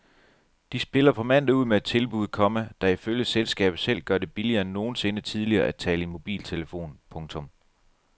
De spiller på mandag ud med et tilbud, komma der ifølge selskabet selv gør det billigere end nogensinde tidligere at tale i mobiltelefon. punktum